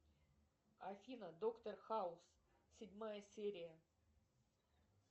афина доктор хаус седьмая серия